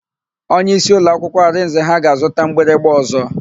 Onyeisi ụlọakwụkwọ Arinze ha ga-azụta mgbịrịgba ọ̀zọ́.